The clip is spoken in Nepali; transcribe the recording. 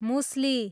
मुसली